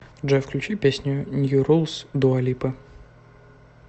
джой включи песню нью рулс дуа липы